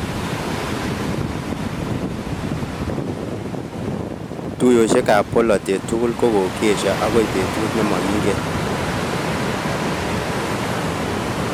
Tuiyoshek ab bolotet tugul kokeesha agoi betut ne makingen